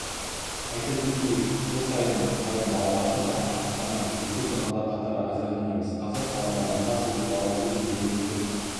айта кетейік жыл өткен сайын балабақша саны артқанымен кезекте тұрғандар қатары азайған емес қазір қалада мыңға жуық бала өз кезегін күтіп